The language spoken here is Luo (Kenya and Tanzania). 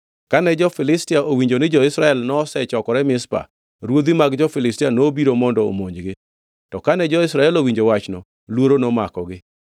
Kane jo-Filistia owinjo ni jo-Israel nosechokore Mizpa, ruodhi mag jo-Filistia nobiro mondo omonjgi. To kane jo-Israel owinjo wachno, luoro nomakogi.